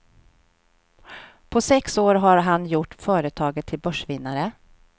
På sex år har han gjort företaget till börsvinnare.